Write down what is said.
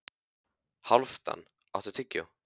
Hálfdan, áttu tyggjó?